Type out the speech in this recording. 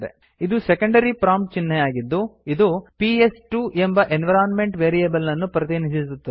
ಇದು secondary prompt ಚಿಹ್ನೆಯಾಗಿದ್ದು ಇದು ಪಿಎಸ್2 ಎಂಬ ಎನ್ವಿರೋನ್ಮೆಂಟ್ ವೇರಿಯೇಬಲ್ ಅನ್ನು ಪ್ರತಿನಿಧಿಸುತ್ತದೆ